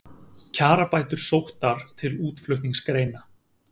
Kjarabætur sóttar til útflutningsgreina